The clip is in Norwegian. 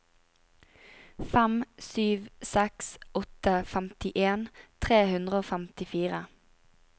fem sju seks åtte femtien tre hundre og femtifire